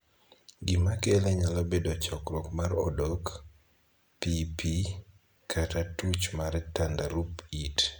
Gima kele nyalo bedo chokruok mar odok, piipii, kata tuch mar tandarup it.